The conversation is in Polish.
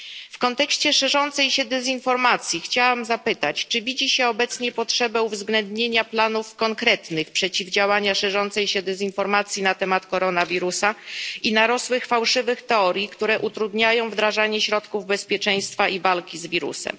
W kontekście szerzącej się dezinformacji chciałam zapytać, czy widzi się obecnie potrzebę uwzględnienia konkretnych planów przeciwdziałania szerzącej się dezinformacji na temat koronawirusa i narosłych fałszywych teorii, które utrudniają wdrażanie środków bezpieczeństwa i walki z wirusem.